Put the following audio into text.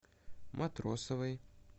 матросовой